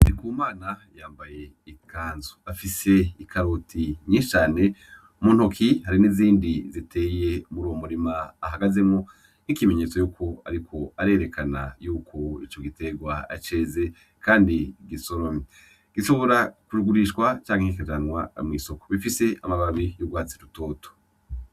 Ndikumana yambaye ikanzu afise ikaroti nyishi cane mu ntoki hari n'izindi ziteye muri uwo murima hagazemwo n'ikimenyetso yuko ariko arerekana yuko ico giterwa ceze kandi gisoromye gishobora ku gurishwa canke ki kajanwa mu isoko bifise amababi y'urwatsi rutoto.